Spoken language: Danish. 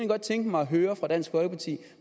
godt tænke mig at høre fra dansk folkeparti